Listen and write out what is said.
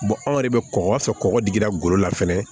anw yɛrɛ bɛ kɔkɔ fɛ kɔgɔ digira golo la fɛnɛ